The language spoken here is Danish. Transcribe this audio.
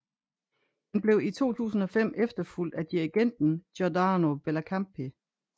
Han blev i 2005 efterfulgt af dirigenten Giordano Bellincampi